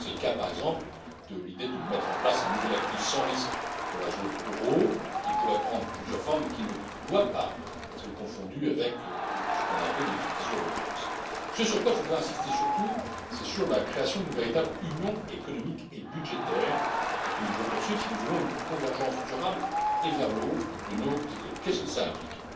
C'est le cas, par exemple, de l'idée de mettre en place un nouvel actif sans risque pour la zone euro, qui pourrait prendre plusieurs formes, mais qui ne doit pas être confondu avec ce qu'on appelait les euro obligations. Ce sur quoi je voudrais insister surtout, c'est sur la création d'une véritable union économique et budgétaire, que nous devons poursuivre si nous voulons une convergence durable et vers le haut de nos économies. Qu'est ce que cela implique?